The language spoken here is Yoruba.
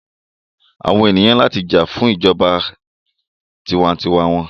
Àwọn ènìyàn ní láti jà fún ìjọba tiwa-n-tiwa wọn.